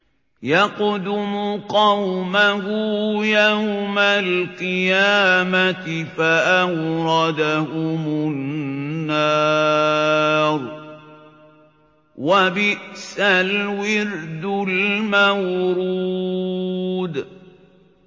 يَقْدُمُ قَوْمَهُ يَوْمَ الْقِيَامَةِ فَأَوْرَدَهُمُ النَّارَ ۖ وَبِئْسَ الْوِرْدُ الْمَوْرُودُ